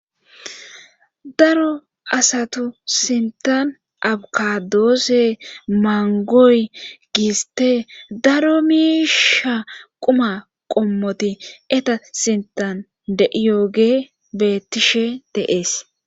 daro asato sintan abkadoosse mangoy giiste daro miisha quma qommoti eta sintan de7iyooge beettishe de7es